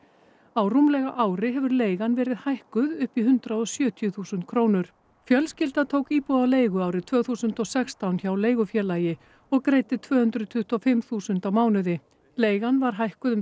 á rúmlega ári hefur leigan verið hækkuð upp í hundrað og sjötíu þúsund krónur fjölskylda tók íbúð á leigu árið tvö þúsund og sextán hjá leigufélagi og greiddi tvö hundruð tuttugu og fimm þúsund á mánuði leigan var hækkuð um